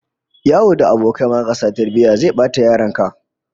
Yawo da abokai marasa tarbiyya zai bata yaron ka